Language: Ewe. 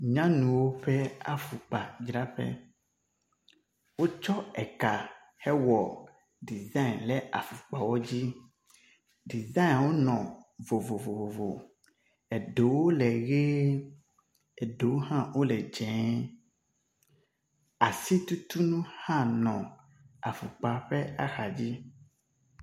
Nyanuwo ƒe afɔkpadzraƒe. Wotsɔ eka hewɔ dezani ɖe afɔkpawo dzi. Dizania wo nɔ le vovovo. Eɖewo le ʋi eɖewo hã wo le dzi. asitutunu hã nɔ afɔkpawo ƒe axa dzi.